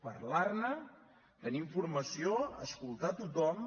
parlar ne tenir informació escoltar tothom